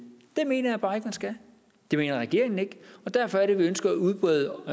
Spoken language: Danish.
mener jeg bare ikke man skal det mener regeringen ikke og derfor er det vi ønsker at udbrede